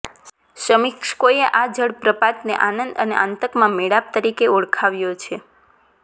સમીક્ષકોએ આ જળ પ્રપાતને આનંદ અને આતંકના મેળાપ તરીકે ઓળખાવ્યો છે